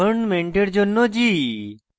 গভর্নমেন্টের জন্য g